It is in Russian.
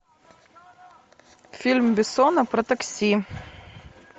фильм бессона про такси